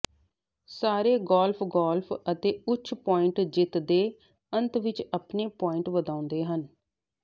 ਸਾਰੇ golf golf ਅਤੇ ਉੱਚ ਪੁਆਇੰਟ ਜਿੱਤ ਦੇ ਅੰਤ ਵਿਚ ਆਪਣੇ ਪੁਆਇੰਟ ਵਧਾਉਂਦੇ ਹਨ